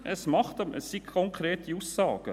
Es gibt konkrete Aussagen.